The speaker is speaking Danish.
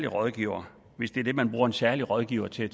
rådgiver hvis det er det man bruger en særlig rådgiver til